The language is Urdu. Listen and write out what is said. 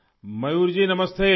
میور جی نمستے